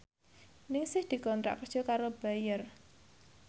Ningsih dikontrak kerja karo Bayer